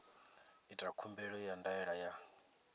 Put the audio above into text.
ita khumbelo ya ndaela ya